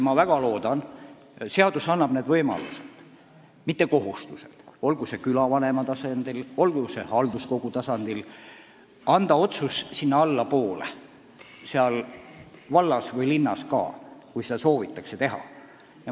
Ma väga loodan, et seadus annab võimaluse, mitte ei kohusta vallas või linnas või külavanema või halduskogu tasandil anda otsustusõigust allapoole, kui seda soovitakse.